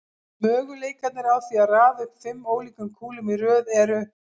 Möguleikarnir á því að raða upp fimm ólíkum kúlum í röð eru